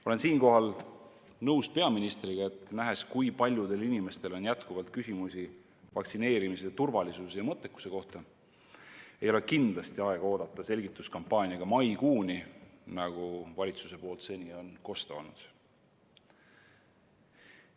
Olen siinkohal nõus peaministriga, et nähes, kui paljudel inimestel on jätkuvalt küsimusi vaktsineerimise turvalisuse ja mõttekuse kohta, ei ole kindlasti aega oodata selgituskampaaniaga maikuuni, nagu valitsuse poolt seni on kostnud.